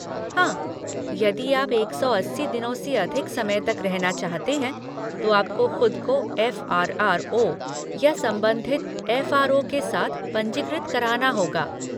हाँ, यदि आप एक सौ अस्सी दिनों से अधिक समय तक रहना चाहते हैं, तो आपको खुद को एफ़ आर आर ओ या संबंधित एफ आर ओ के साथ पंजीकृत कराना होगा।